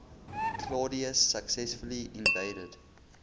claudius successfully invaded